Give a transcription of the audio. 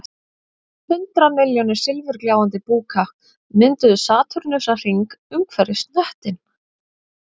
Hundrað milljónir silfurgljáandi búka mynduðu satúrnusarhring umhverfis hnöttinn